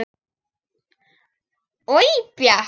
Oj bjakk.